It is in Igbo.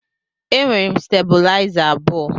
E nwere m stebulaiza abụọ.